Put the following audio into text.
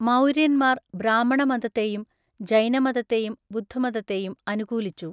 മൗര്യന്മാർ ബ്രാഹ്മണമതത്തെയും ജൈനമതത്തെയും ബുദ്ധമതത്തെയും അനുകൂലിച്ചു.